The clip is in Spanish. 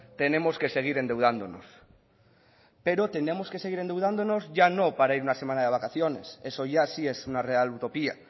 tenemos que seguir endeudándonos pero tenemos que seguir endeudándonos ya no para ir una semana de vacaciones eso ya sí es una real utopía